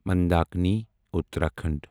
Mandakini Uttarakhand